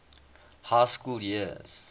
high school years